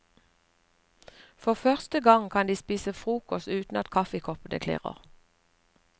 For første gang kan de spise frokost uten at kaffekoppene klirrer.